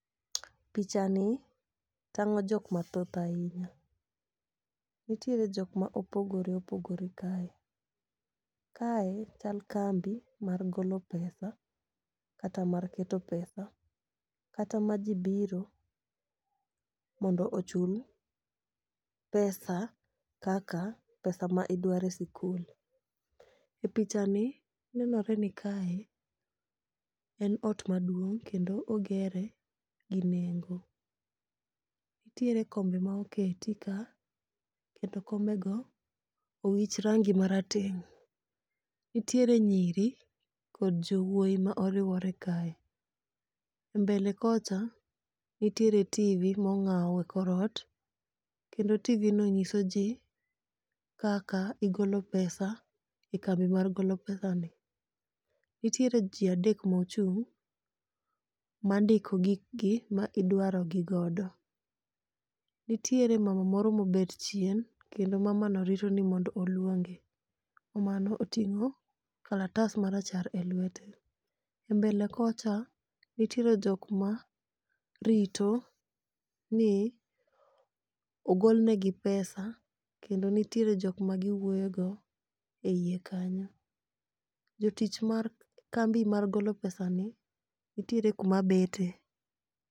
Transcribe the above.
Pichani tang'o jok mathoth ahinya, nitiere jok ma opogore opogore kae. Kae chal kambi mar golo pesa kata mar keto pesa, kata ma ji biro mondo ochul pesa kaka pesa ma idwaro e sikul. E pichani nenore ni kae, en ot maduong' kendo ogere gi nengo. Nitiere kombe ma oketi ka kendo kombego owich rangi marateng',nitiere nyiri kod jowuoyi ma oriwore kae. E mbele kocha, nitiere tv mong'aw e kor ot kendo tv no nyiso ji kaka igolo pesa e kambi mar golo pesani. Nitiere ji adek mochung' mandiko gikgi ma idwaro gi godo. Nitiere mama moro ma obet chien, kendo mamano rito ni mondo olwonge. Mamano oting'o kalatas marachar e lwete. E mbele kocha, nitiere jok marito ni ogol negi pesa kendo nitiere jok ma giwuoyogo e iye kanyo. Jotich mar kambi mar golo pesani, nitiere kuma bete.